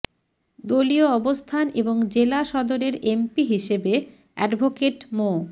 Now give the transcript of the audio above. দলীয় অবস্থান এবং জেলা সদরের এমপি হিসেবে অ্যাডভোকেট মো